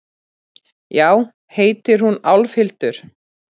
Já, heitir hún Álfhildur?